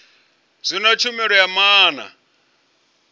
zwino sa tshumelo ya maana